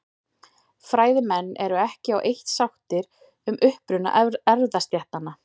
Fræðimenn eru ekki á eitt sáttir um uppruna erfðastéttanna.